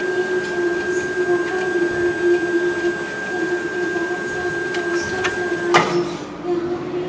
ये एक छोटी सी होटल दिखाई दे रही है यहाँ पे बहुत सारे पोस्टर्स लगाए हैं यहाँ पे --